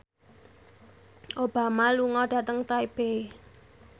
Obama lunga dhateng Taipei